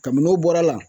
Kabini n'o bɔra a la